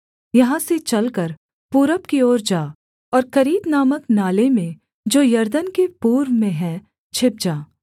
यहाँ से चलकर पूरब की ओर जा और करीत नामक नाले में जो यरदन के पूर्व में है छिप जा